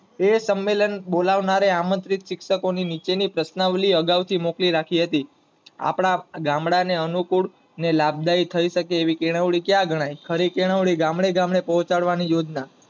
એ સંમલેણ બોલાવનાર ને આમન્ત્રિત શિક્ષકો ની અગાવ ની પ્રશ્ર્નવલી મોકલી રાખી હતી, આપડા ગામડા ને અનુકૂળ લાભદાયી થઇ એકે આવી કેળવણી ક્યાં ગનાય? ખરી કેળવણી ગામડે ગામડે પોચડાવાની યોજના